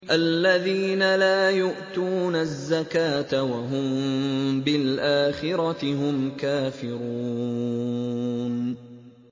الَّذِينَ لَا يُؤْتُونَ الزَّكَاةَ وَهُم بِالْآخِرَةِ هُمْ كَافِرُونَ